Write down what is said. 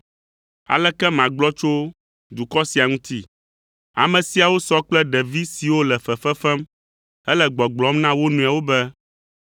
“Aleke magblɔ tso dukɔ sia ŋuti? Ame siawo sɔ kple ɖevi siwo le fefe fem hele gbɔgblɔm na wo nɔewo be,